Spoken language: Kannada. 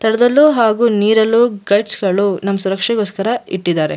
ತಳದಲ್ಲೂ ಹಾಗು ನೀರಲ್ಲೂ ಗಲಾಜ್ಜ್ ಗಳು ನಮ್ ಸುರಕ್ಷೆಗೋಸ್ಕರ ಇಟ್ಟಿದ್ದಾರೆ.